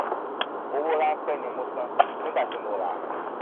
owó ránpẹ ni mo san nígbà tí mo ràá